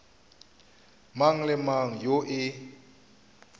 mang le mang yoo e